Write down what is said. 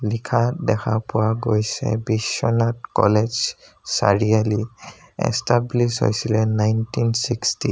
লিখা দেখা পোৱা গৈছে বিশ্বনাথ কলেজ চাৰিয়ালি এষ্টাব্লিছ হৈছিলে নাইনটিন চিক্সতি ত।